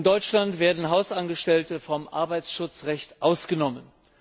In Deutschland sind Hausangestellte vom Arbeitsschutzrecht ausgenommen.